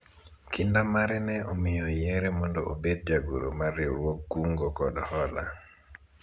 Kinda mare ne omiyo oyiere mondo obed jagoro mar riwruog kungo kod hola